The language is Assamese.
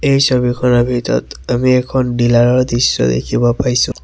এই ছবিখনৰ ভিতৰত আমি এখন ডিলাৰ ৰ দৃশ্য দেখিব পাইছোঁ।